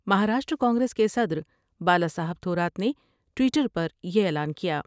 مہاراشٹر کانگریس کے صدر بالا صاحب تھورات نے ٹوئٹر پر یہ اعلان کیا۔